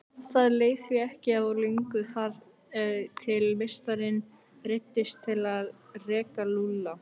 Það leið því ekki á löngu þar til meistarinn neyddist til að reka Lúlla.